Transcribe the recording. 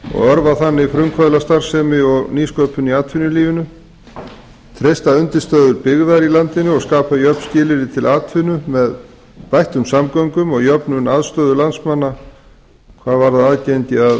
og örva þannig frumkvöðlastarfsemi og nýsköpun í atvinnulífinu treysta undirstöðu byggðar í landinu og skapa jöfn skilyrði til atvinnu með bættum samgöngum og jöfnun aðstöðu landsmanna